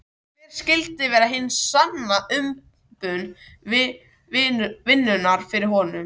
Hver skyldi vera hin sanna umbun vinnunnar fyrir honum?